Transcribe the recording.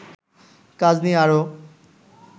কাজ নিয়ে আরো